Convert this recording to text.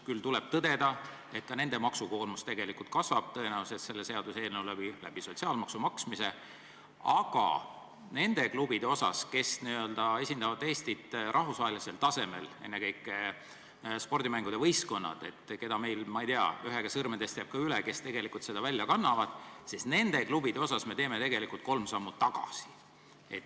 Küll tuleb tõdeda, et ka nende maksukoormus tegelikult tõenäoliselt selle seaduseelnõuga kasvab sotsiaalmaksu maksmise tõttu, aga nende klubide puhul, kes esindavad Eestit rahvusvahelisel tasemel, ennekõike sportmängude võistkonnad – ma ei tea, ühe käe sõrmedest jääb ka üle, kui lugeda kokku, kes tegelikult seda välja kannavad –, me teeme tegelikult kolm sammu tagasi.